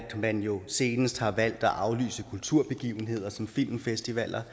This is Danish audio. man jo senest har valgt at aflyse kulturbegivenheder som filmfestivaler